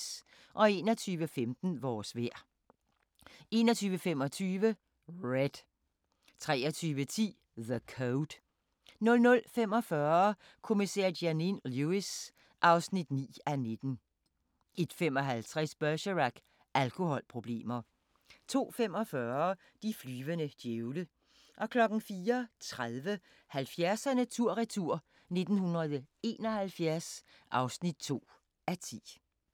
21:15: Vores vejr 21:25: Red 23:10: The Code 00:45: Kommissær Janine Lewis (9:19) 01:55: Bergerac: Alkoholproblemer 02:45: De flyvende djævle 04:30: 70'erne tur-retur: 1971 (2:10)